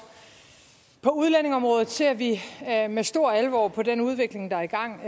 på udlændingeområdet ser vi med stor alvor på den udvikling der er i gang